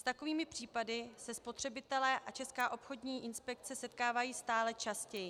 S takovými případy se spotřebitelé a Česká obchodní inspekce setkávají stále častěji.